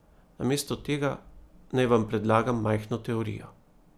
Namesto tega naj vam predlagam majhno teorijo.